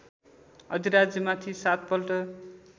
अधिराज्यमाथि सात पल्ट